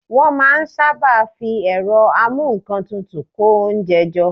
Wọ́n máa n sáábà fi ẹ̀rọ amúǹkantutù kó oúnjẹ jọ